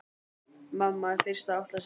Mamma er fyrst að átta sig